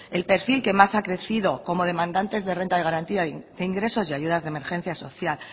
el perfil que más ha crecido como demandantes de renta de garantía de ingresos y ayudas de emergencia social